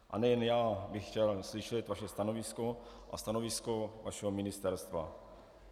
A nejen já bych chtěl slyšet vaše stanovisko a stanovisko vašeho ministerstva.